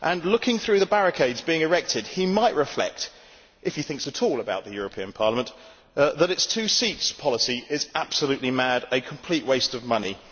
Looking through the barricades being erected he might reflect, if he thinks at all about the European Parliament, that its two seats policy is absolutely mad, a complete waste of money.